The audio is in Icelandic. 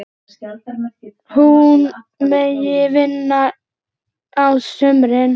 Hún megi vinna á sumrin.